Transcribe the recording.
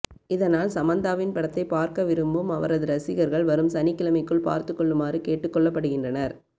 இதனால் சமந்தாவின் படத்தை பார்க்க விரும்பும் அவரது ரசிகர்கள் வரும் சனிக்கிழமைக்குள் பார்த்து கொள்ளுமாறு கேட்டுக்கொள்ளப்படுகின்றனர்